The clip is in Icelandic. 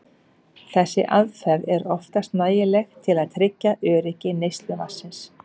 Þessi aðferð er oftast nægileg til að tryggja öryggi neysluvatnsins.